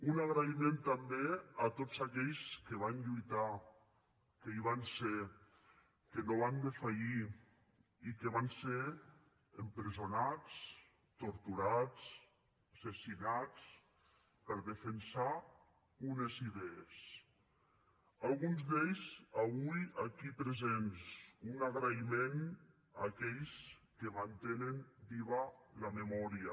una agraïment també a tots aquells que van lluitar que hi van ser que no van defallir i que van ser empresonats torturats assassinats per defensar unes idees alguns d’ells avui aquí presents un agraïment a aquells que mantenen viva la memòria